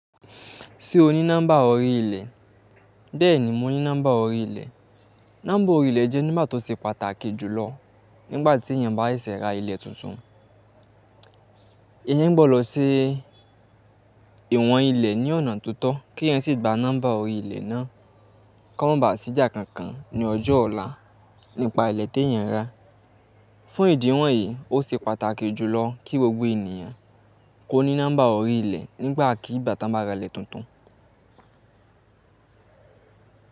Se o ni nomba orilẹ bẹ ní mo ní nọ́mbà orí ilẹ̀. Nọ́mbà orí ilẹ̀ jẹ́ nọ́mbà tó ṣe pàtàkì jùlọ nígbà tí èèyàn bá ṣẹsẹ ra ile tuntun. Èèyàn ń gbọ́dọ̀ se ìwọn ilẹ̀ ní ọ̀nà totọ kí eyan sì gba nọ́mbà orí ilẹ̀ náà kí o mo ba à ṣì jà kankan ní ọjọ́ ọ̀la nípa ilẹ̀ tí èèyàn rà. Fún ìdí wọ̀nyí, ó ṣe pàtàkì jùlọ kí gbogbo ènìyàn kó ní nọ́mbà orí ilẹ̀ nígbà kí gba tan ba ra ilẹ̀ tuntun.